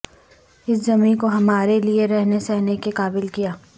اس زمیں کو ہمارے لئے رہنے سہنے کے قابل کیا